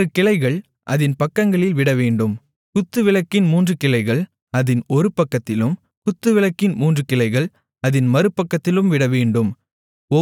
ஆறு கிளைகள் அதின் பக்கங்களில் விடவேண்டும் குத்துவிளக்கின் மூன்று கிளைகள் அதின் ஒரு பக்கத்திலும் குத்துவிளக்கின் மூன்று கிளைகள் அதின் மறுபக்கத்திலும் விடவேண்டும்